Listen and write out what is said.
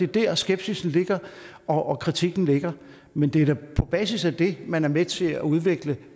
der skepsisen og kritikken ligger men det er på basis af at man er med til at udvikle